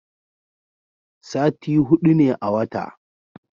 sati hudu ne a wata